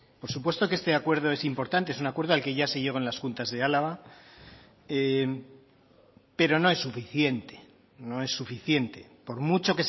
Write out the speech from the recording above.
por supuesto que este acuerdo es importante es un acuerdo al que ya se llegó en las juntas de álava pero no es suficiente no es suficiente por mucho